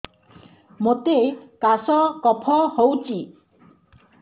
ମୋତେ କାଶ କଫ ହଉଚି